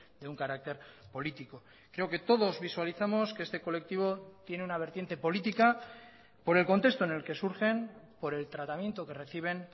de un carácter político creo que todos visualizamos que este colectivo tiene una vertiente política por el contexto en el que surgen por el tratamiento que reciben